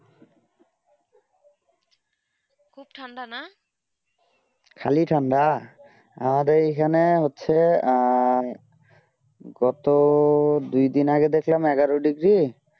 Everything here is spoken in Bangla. খুব ঠান্ডা না খালি ঠান্ডা আমাদের এইখানে হচ্ছেই গত দুই দিন আগে দেখলাম এগারো degree